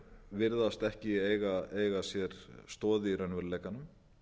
virðast ekki eiga sér stoð í raunveruleikanum